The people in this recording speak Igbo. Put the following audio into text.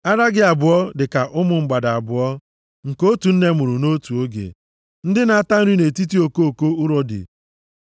Ara gị abụọ dị ka ụmụ mgbada abụọ, nke otu nne mụrụ nʼotu oge, ndị na-ata nri nʼetiti okoko urodi.